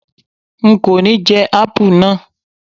N kò ní jẹ́ Ápù náà.